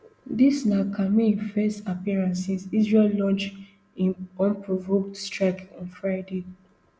dis na khamenei first appearance since israel launch im unprovoked strikes on friday